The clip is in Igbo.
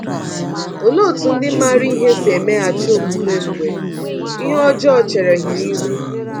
Olee otú ndị maara ihe si emeghachi omume mgbe ihe ọjọọ chere ha ihu?